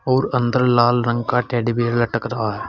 और अंदर लाल रंग का टेडी बियर लटक रहा है।